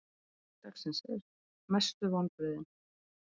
Spurning dagsins er: Mestu vonbrigðin?